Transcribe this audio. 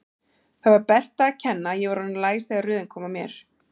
Það var Berta að kenna að ég var orðinn læs þegar röðin kom að mér.